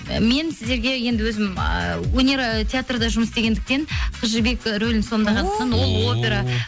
ы мен сіздерге енді өзім ааа өнер ы театрда жұмыс істегендіктен қыз жібек рөлін сомдағандықтан ол опера